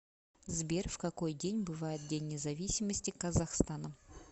сбер в какой день бывает день независимости казахстана